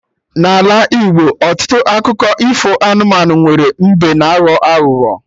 N'Ala Igbo, ọtụtụ akụkọ ifo anụmanụ nwere mbe na aghọ aghụghọ